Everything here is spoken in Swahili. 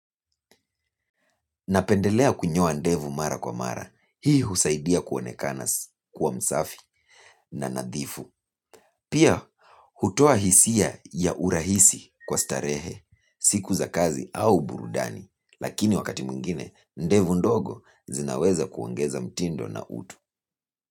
Napendelea kunyoa ndevu mara kwa mara, hii husaidia kuonekana kwa msafi na nadhifu. Pia hutoa hisia ya urahisi kwa starehe siku za kazi au burudani lakini wakati mwingine ndevu ndogo zinaweza kuongeza mtindo na utu.